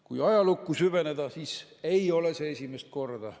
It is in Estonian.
Kui ajalukku süveneda, siis ei ole see esimest korda.